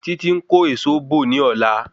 Títí ń kó èso bò ní ọ̀lá